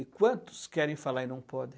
E quantos querem falar e não podem?